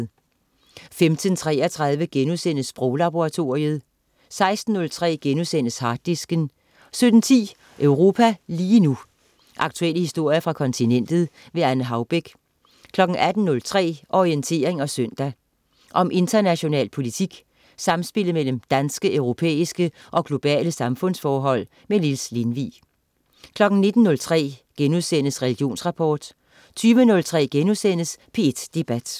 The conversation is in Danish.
15.33 Sproglaboratoriet* 16.03 Harddisken* 17.10 Europa lige nu. Aktuelle historier fra kontinentet. Anne Haubek 18.03 Orientering søndag. Om international politik, samspillet mellem danske, europæiske og globale samfundsforhold. Niels Lindvig 19.03 Religionsrapport* 20.03 P1 Debat*